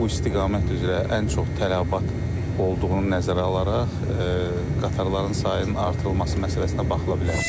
Bu istiqamət üzrə ən çox tələbat olduğunu nəzərə alaraq qatarların sayının artırılması məsələsinə baxıla bilər.